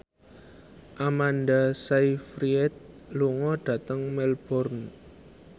Amanda Sayfried lunga dhateng Melbourne